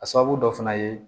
A sababu dɔ fana ye